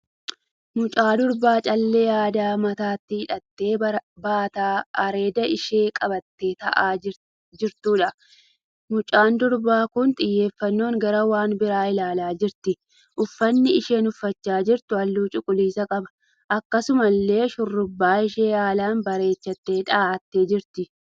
Mucaa durbaa callee aadaa mataatti hidhattee baataa areeda ishee qabattee ta'aa jirtuudha. Mucaan durbaa kun xiyyeeffannoon gara waan biraa ilaalaa jirti. Uffanni isheen uffachaa jirtu halluu cuquliisa qaba. Akkasumallee shurrubbaa ishee haalaan bareechitee dhahattee jirti.